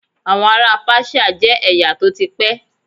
Àwọn ará Páṣíà jẹ́ ẹ̀yà tó ti pẹ́.